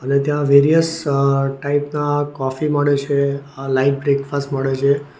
ને ત્યાં વેરિયસ અ ટાઇપના કોફી મળે છે અ લાઈવ બ્રેકફાસ્ટ મળે છે.